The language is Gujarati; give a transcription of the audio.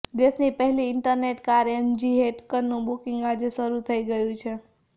દેશની પહેલી ઇન્ટરનેટ કાર એમજી હેક્ટરનું બૂકિંગ આજે શરૂ થઈ ગયુ છે